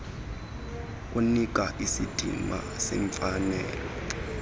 kunika isidima semfanelo